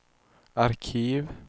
arkiv